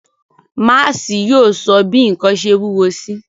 Máási yóò sọ bi nkan ṣe wuwo si.